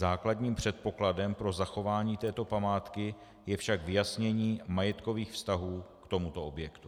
Základním předpokladem pro zachování této památky je však vyjasnění majetkových vztahů k tomuto objektu.